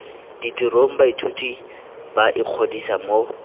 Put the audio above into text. ditirong baithuti ba ikgodisa mo